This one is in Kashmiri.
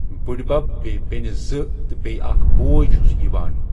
بٕڈۍبب بیٚیہِ بیٚنہِ زٕ تہٕ بیٚیہِ اکھ بوے چھُس یِوان